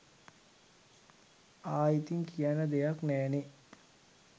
ආයි ඉතින් කියන්න දෙයක් නෑනේ